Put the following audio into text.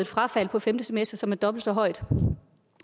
frafald på femte semester som er dobbelt så højt